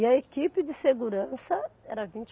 E a equipe de segurança era vinte